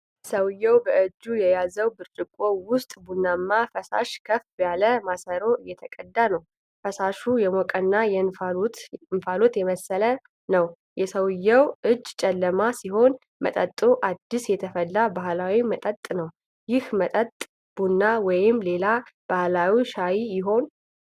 ሰው በእጁ የያዘው ብርጭቆ ውስጥ ቡናማ ፈሳሽ ከፍ ያለ ማሰሮ እየተቀዳ ነው። ፈሳሹ የሞቀና የእንፋሎት የመሰለ ነው። የሰውየው እጅ ጨለማ ሲሆን፣ መጠጡ አዲስ የተፈላ ባህላዊ መጠጥ ነው። ይህ መጠጥ ቡና ወይንም ሌላ ባህላዊ ሻይ ይሆን?